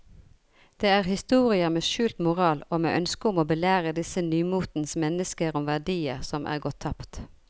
Det er historier med skjult moral og med ønske om å belære disse nymotens mennesker om verdier som er gått tapt.